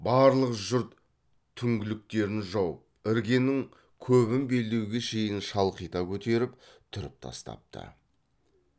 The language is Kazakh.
барлық жұрт түңліктерін жауып іргенің көбін белдеуге шейін шалқита көтеріп түріп тастапты